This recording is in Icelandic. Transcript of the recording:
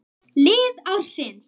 Lið ársins